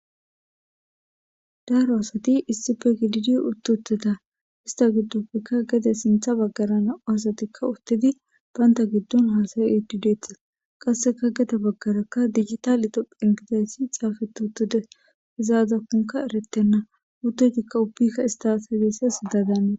Daro asati issipe giddidi uti uttida ista gidoppeka gedde sinthe bagara Nam'u asatikka uttidi banta giddon hasa'di detes qaseka gede baggara digitale tophiya gidi xapeti utiddes izi azakko eretena uttoyitika ubbika ist hasa'izaysa siyiza dannetes.